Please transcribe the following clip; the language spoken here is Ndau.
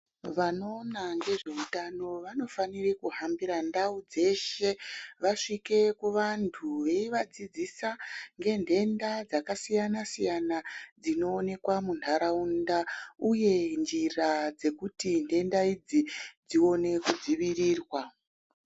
Vanoona ngezveutano vanofanira kuhambira ndau dzeshe vasvike kuvantu vachivadzisisa ngendenda dzakasiyana-siyana dzinoonekwa muntaraunta uye nzira dzekuti ndenda idzi dzione kudzivirirwa.